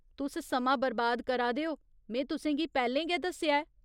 तुस समां बरबाद करा दे ओ, में तुसें गी पैह्‌लें गै दस्सेआ ऐ।